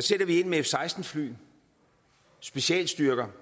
sætter vi ind med f seksten fly specialstyrker